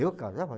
Eu casar?